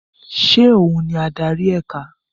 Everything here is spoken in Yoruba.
Ṣé òhun ni adari ẹka?